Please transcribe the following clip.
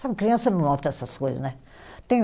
Sabe, criança não nota essas coisas, né? Tem